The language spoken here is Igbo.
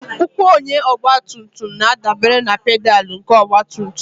Ụkwụ onye ọgbatumtum na-adabere na pedalụ nke ọgbatumtum